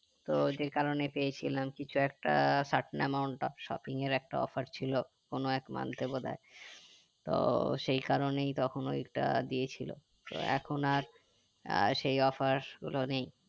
তো যে কারণে পেয়েছিলাম কিছু একটা satna amount shopping এর একটা offer ছিল কোনো এক month এ বোধয় তো সেই কারণেই তখন ঐটা দিয়েছিলো তো এখন আর আহ সেই offer গুলো নেই